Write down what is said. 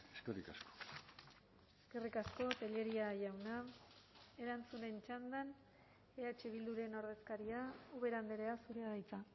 eskerrik asko eskerrik asko tellería jauna erantzunen txandan eh bilduren ordezkaria ubera andrea zurea da hitza